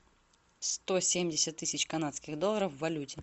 сто семьдесят тысяч канадских долларов в валюте